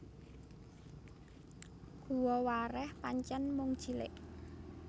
Guwa Wareh pancen mung cilik